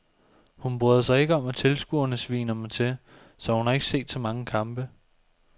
Hun bryder sig ikke om at tilskuerne sviner mig til, så hun har ikke set så mange kampe.